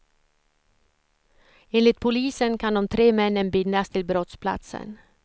Enligt polisen kan de tre männen bindas till brottsplatsen.